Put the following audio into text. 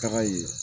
Taga ye